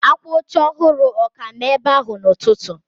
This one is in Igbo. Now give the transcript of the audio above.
Akwa oche ọhụrụ ọ ka nọ ebe ahụ n'ụtụtụ?